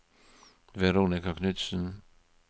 Veronika Knutsen